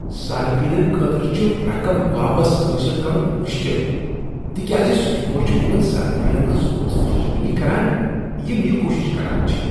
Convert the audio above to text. صٲرفینن خٲطرٕ چھ رقم واپس حأصل کرن مشکل تکیاز سٹور چھ تمن صٲرفینن ہنٛز حوصلہ شکنی کران یم یہِ کوشش کرانچھ ۔